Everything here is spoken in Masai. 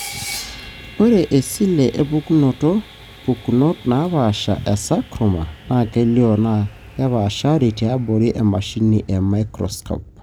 ore iseli epukunoto pukunot naapasha e sarcoma na kelio na kepashari tiabori emashini e microscope.